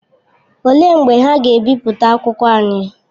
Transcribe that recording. Olee mgbe ha ga-ebipụta akwụkwọ anyị?